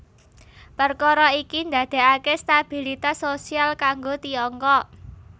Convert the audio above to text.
Perkara iki ndadekake stabilitas sosial kanggo Tiongkok